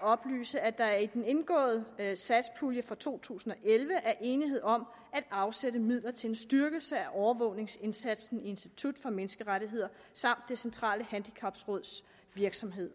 oplyse at der i den indgåede satspulje for to tusind og elleve er enighed om at afsætte midler til en styrkelse af overvågningsindsatsen i institut for menneskerettigheder samt det centrale handicapråds virksomhed